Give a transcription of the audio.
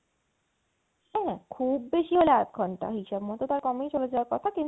হ্যাঁ খুব বেশি হলে আধ ঘণ্টা, হিসেব মতো তার কমেই চলে যাওয়ার কথা কিন্তু